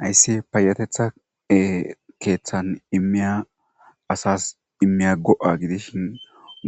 Hayssi payateththa keeththan ee immiya asas immiya go7a gidishin